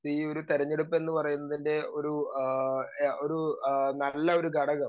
speaker 2 ഈയൊരു തെരഞ്ഞെടുപ്പ് എന്ന് പറയുന്നതിന്റെ ആഹ് ഒരു ആഹ് നല്ലൊരു ഘടകം